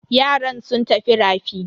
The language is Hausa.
Yaran sun tafi rafi.